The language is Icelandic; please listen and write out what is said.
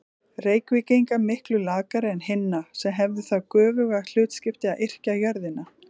Reykvíkinga miklu lakari en hinna, sem hefðu það göfuga hlutskipti að yrkja jörðina.